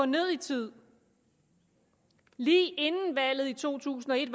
ned i tid lige inden valget i to tusind og et